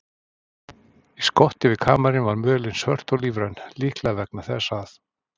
Í skoti við kamarinn var mölin svört og lífræn, líklega vegna þess að